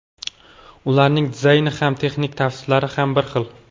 Ularning dizayni ham, texnik tavsiflari ham bir xil.